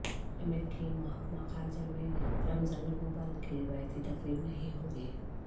امریکی محکمہ خارجہ میں رمضان المبارک کی روایتی تقریب نہیں ہوگی